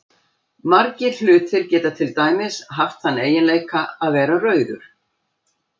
Margir hlutir geta til dæmis haft þann eiginleika að vera rauður.